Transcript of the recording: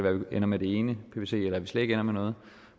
ender med det ene nu se eller at vi slet ikke ender med noget